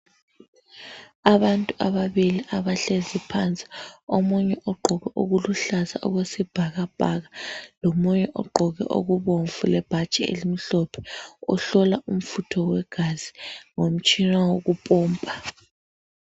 Abantu ababili abahlezi phansi, omunye ugqoke okuluhlaza okwesibhakabhaka, lomunye ogqoke okubomvu lebhatshi elimhlophe. Uhlola umfutho wegazi ngomtshina wokupompa.